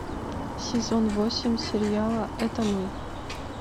сезон восемь сериала это мы